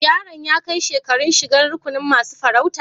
Yaron ya kai shekaran shigan rukunin masun farauta?